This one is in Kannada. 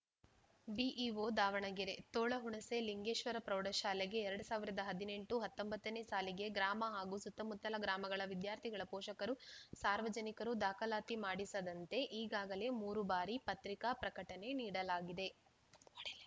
ಬಿಇಒ ದಾವಣಗೆರೆ ತೋಳಹುಣಸೆ ಲಿಂಗೇಶ್ವರ ಪ್ರೌಢಶಾಲೆಗೆ ಎರಡ್ ಸಾವಿರದ ಹದಿನೆಂಟು ಹತ್ತೊಂಬತ್ತನೇ ಸಾಲಿಗೆ ಗ್ರಾಮ ಹಾಗೂ ಸುತ್ತಮುತ್ತಲ ಗ್ರಾಮಗಳ ವಿದ್ಯಾರ್ಥಿಗಳ ಪೋಷಕರು ಸಾರ್ವಜನಿಕರು ದಾಖಲಾತಿ ಮಾಡಿಸದಂತೆ ಈಗಾಗಲೇ ಮೂರು ಬಾರಿ ಪತ್ರಿಕಾ ಪ್ರಕಟಣೆ ನೀಡಲಾಗಿದೆ ಕೊಡು ಇಲ್ಲಿ